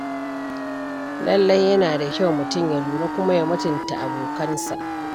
Lallai yana da kyau mutum ya lura kuma ya mutunta abokansa.